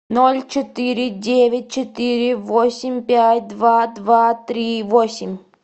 ноль четыре девять четыре восемь пять два два три восемь